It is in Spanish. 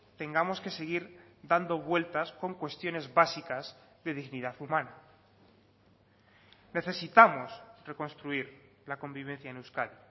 tengamos que seguir dando vueltas con cuestiones básicas de dignidad humana necesitamos reconstruir la convivencia en euskadi